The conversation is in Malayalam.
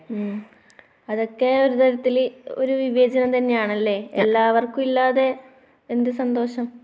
ഉം. അതൊക്കെ ഒരു തരത്തിൽ ഒരു വിവേചനം തന്നെയാണല്ലേ. എല്ലവർക്കും ഇല്ലാതെ എന്ത് സന്തോഷം?